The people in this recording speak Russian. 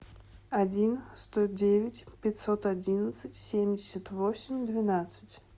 один сто девять пятьсот одиннадцать семьдесят восемь двенадцать